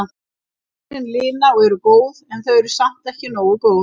Tárin lina og eru góð en þau eru samt ekki nógu góð.